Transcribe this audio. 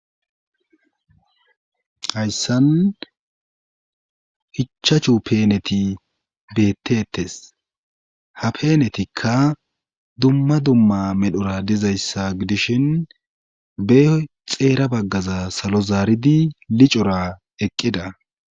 Hayssan ichachu peeneti beetteetes ha peenetikka dumma dumma medhora dizayssa gidishin beyoy xeera baggaza salo zaaridi licora eqqida.